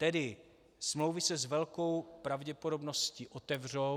Tedy smlouvy se s velkou pravděpodobností otevřou.